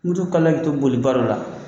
Mutu kalila k'i to boliba dɔ la